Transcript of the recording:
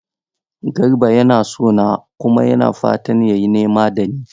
Garba yana so na kuma yana fatan ya yi nema da ni.